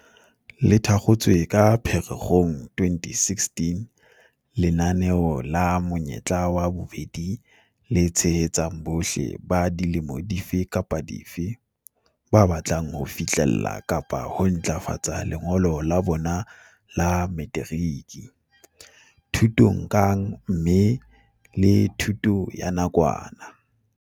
Le thakgotswe ka Phere-kgong 2016, lenaneo la Monyetla wa Bobedi le tshehetsa bohle - ba dilemo dife kapa dife - ba batlang ho fihlella kapa ho ntlafatsa lengolo la bona la materiki, thutong kang mme le ka thuto ya nakwana.